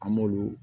An m'olu